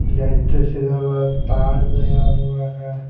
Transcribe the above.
Letters इधर बड़ा पाड गया हुआ है ।